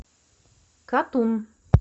катун